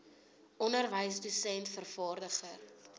onderwyser dosent vervaardiger